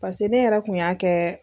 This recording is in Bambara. ne yɛrɛ kun y'a kɛ.